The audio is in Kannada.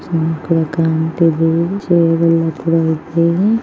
ಗಂಟೆ ಗಂಟೆಗು ಜೋಬಲ್ಲಿ ಅಬ್ಬರ ಇದ್ದರೆ --